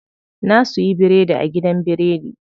Na suyi biredi a gidan biredi.